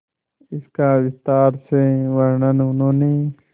इसका विस्तार से वर्णन उन्होंने